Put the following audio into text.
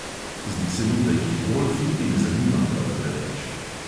Zdi se mi, da jih golf niti ne zanima prav preveč.